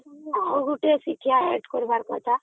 ଆଉ ଗୋଟେ ଶିକ୍ଷା add କରିବାର କଥା